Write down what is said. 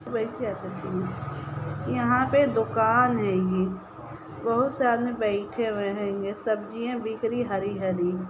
यहाँ पे दुकान हेंगी बहुत सारे बैठे हुए है इनमे सब्जियां बिक रही है हरी रही।